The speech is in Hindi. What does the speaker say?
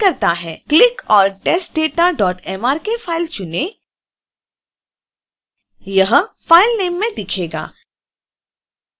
क्लिक और testdatamrk फाइल चुनें यह file name में दिखेगा